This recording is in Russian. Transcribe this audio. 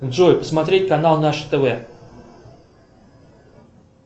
джой смотреть канал наше тв